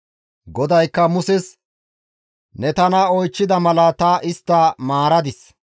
GODAYKKA Muses, «Ne tana oychchida mala ta istta maaradis.